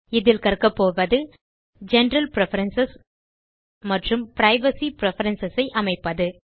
இதில் கற்கப்போவது general preference மற்றும் பிரைவசி பிரெஃபரன்ஸ் ஐ அமைப்பது